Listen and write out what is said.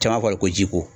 Caman kɔni ko ji ko